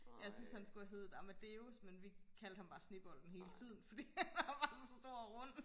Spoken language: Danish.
jeg synes han skulle have heddet amadeus men vi kaldte ham bare snebolden hele tiden fordi han er bare så stor og rund